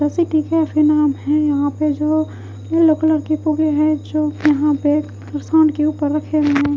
ऐसे ठीक है फिर नाम है यहां पे जो येलो कलर के पोगे है जो यहां पे के ऊपर रखे हुए--